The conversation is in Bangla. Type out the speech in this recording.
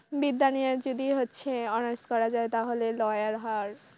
বিদ্যা নিয়ে যদি হচ্ছে অনার্স করা যায় তাহলে lawyer হওয়ার।